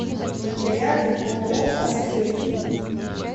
рядом ооо асклепий